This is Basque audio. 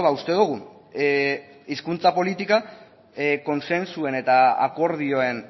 uste dugu hizkuntza politika kontsentsuen eta akordioen